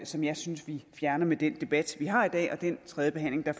som jeg synes vi fjerner med den debat vi har i dag og den tredjebehandling der